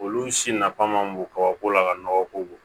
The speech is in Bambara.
Olu si nafa ma bon kabako la ka nɔgɔ ko bon